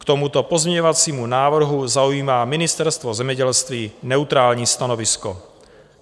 K tomuto pozměňovacímu návrhu zaujímá Ministerstvo zemědělství neutrální stanovisko.